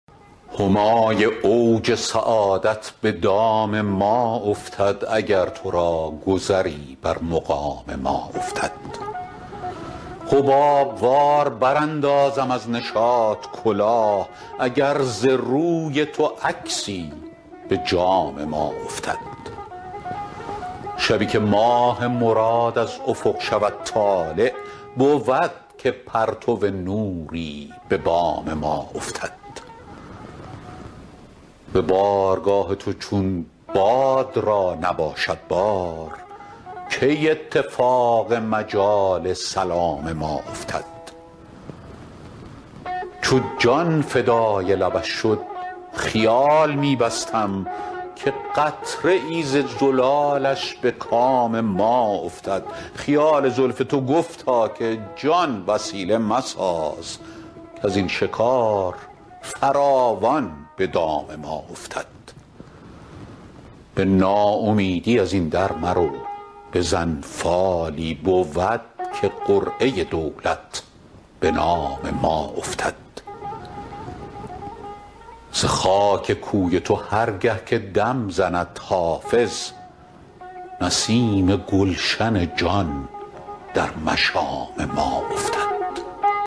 همای اوج سعادت به دام ما افتد اگر تو را گذری بر مقام ما افتد حباب وار براندازم از نشاط کلاه اگر ز روی تو عکسی به جام ما افتد شبی که ماه مراد از افق شود طالع بود که پرتو نوری به بام ما افتد به بارگاه تو چون باد را نباشد بار کی اتفاق مجال سلام ما افتد چو جان فدای لبش شد خیال می بستم که قطره ای ز زلالش به کام ما افتد خیال زلف تو گفتا که جان وسیله مساز کز این شکار فراوان به دام ما افتد به ناامیدی از این در مرو بزن فالی بود که قرعه دولت به نام ما افتد ز خاک کوی تو هر گه که دم زند حافظ نسیم گلشن جان در مشام ما افتد